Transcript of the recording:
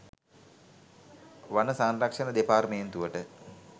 වන සංරක්ෂණ දෙපාර්තමේන්තුවට